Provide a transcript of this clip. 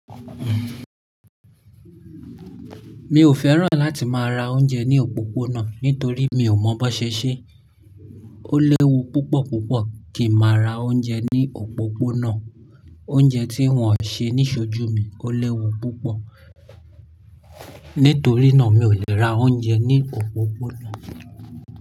Mi ò fẹ́ràn láti máa ra oúnjẹ ní òpópónà nítorí mi ò mọ bó ṣe ṣe. Ó léwu púpọ̀ púpọ̀ kí n máa ra oúnjẹ ní òpópónà. Oúnjẹ tí wọ́n ṣe ní ṣojú mi ó léwu púpọ̀. Nítorí náà mi ò lè ra oúnjẹ ní òpópónà.